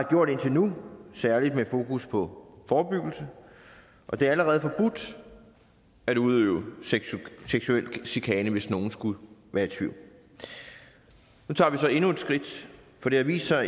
gjort indtil nu særlig med fokus på forebyggelse og det er allerede forbudt at udøve seksuel chikane hvis nogen skulle være i tvivl nu tager vi så endnu et skridt for det har vist sig